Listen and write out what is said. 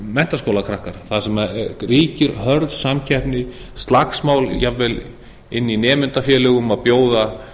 eru það menntaskólakrakkar þar sem ríkir hörð samkeppni slagsmál jafnvel inni í nemendafjölgum og bjóða